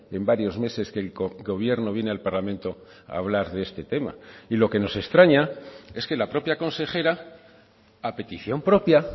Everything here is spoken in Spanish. en varios meses que el gobierno viene al parlamento a hablar de este tema y lo que nos extraña es que la propia consejera a petición propia